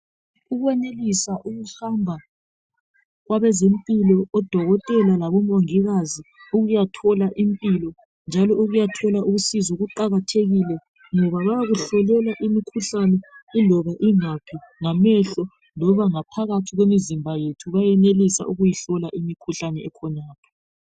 Ukwenelisa ukuhamba kwabezimpilo odokotela labomongikazi ukuyathola impilo njalo ukuyathola usizo kuqakathekile ngoba bayakuhlolela imikhuhlani eloba ingaphi ngamehlo loba ngaphakathi kwemizimba yethu bayenelisa ukuhlola imikhuhlane ekhonapho